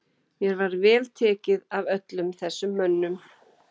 Mér var tekið vel af öllum þessum mönnum.